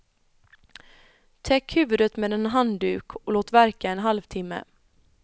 Täck huvudet med en handduk och låt verka en halvtimme.